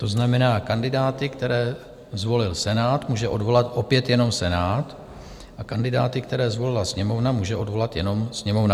To znamená, kandidáty, které zvolil Senát, může odvolat opět jenom Senát a kandidáty, které zvolila Sněmovna, může odvolat jenom Sněmovna.